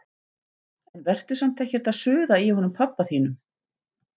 En vertu samt ekkert að suða í honum pabba þínum.